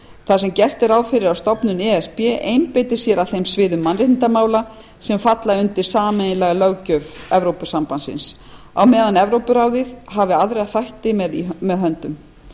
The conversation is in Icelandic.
þar sem gert er ráð fyrir að stofnun e s b einbeiti sér að þeim sviðum mannréttindamála sem falla undir sameiginlega löggjöf evrópusambandsins á meðan evrópuráðið hafi aðra þætti með höndum